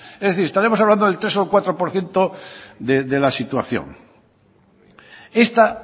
es decir estaremos hablando del tres o el cuatro por ciento de la situación esta